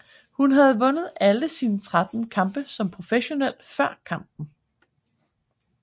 Hun havde vundet alle sine 13 kampe som professionel før kampen